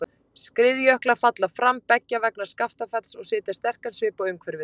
Skriðjöklar falla fram beggja vegna Skaftafells og setja sterkan svip á umhverfið.